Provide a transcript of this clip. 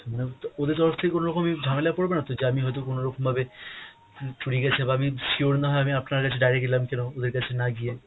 madam তো ওদের তরফ থেকে কোন রকমই ঝামেলাই পরবে না তো যে আমি হয়তো কোন রকম ভাবে উম চুরি গেছে বা আমি sure না হয়ে আমি আপনার কাছে direct এলাম কেন ওদের কাছে না গিয়ে!